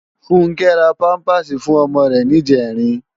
Funke rá pàmpásí fún òmò rè nijèrín